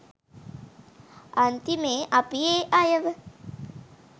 අන්තිමේ අපි ඒ අයව